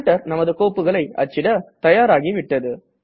printer நமது கோப்புகளை அச்சிட தயாராகிவிட்டது